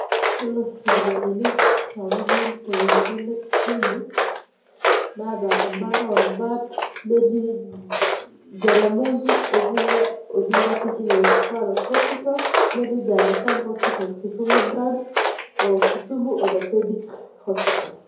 Yiolo sipitalini sapukin torkerenket le Kisumu, naata ebaare orubat netii Jaramogi Oginga Odinga teaching and referral hospital, netii The Agha Khan hospital Kisumu branch, o Kisumu orthopedic hospital.